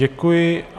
Děkuju.